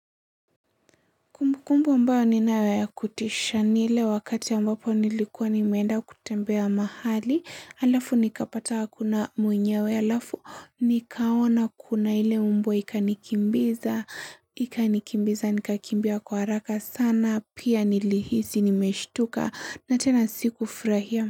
Kumbukumbu ambayo ninayo ya kutisha ni ile wakati ambapo nilikuwa nimeenda kutembea mahali, halafu nikapata hakuna mwenyewe, halafu nikaona kuna ile mbwa ikanikimbiza, ikanikimbiza, nikakimbia kwa haraka sana, pia nilihisi nimeshtuka, na tena sikufurahia.